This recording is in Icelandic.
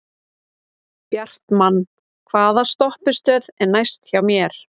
Bjartmann, hvaða stoppistöð er næst mér?